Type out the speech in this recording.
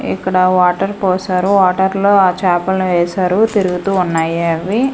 ఇక్కడ వాటర్ పోసారూ వాటర్ లో ఆ చేపల్ని వేశారు తిరుగుతూ ఉన్నాయి అవి.